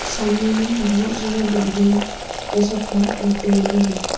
सामने में बहुत ज्यादा बिल्डिंग ये सब है और पेड़ भी है।